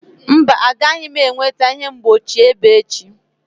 Mba, agaghị m enweta ihe mgbochi ebe echi.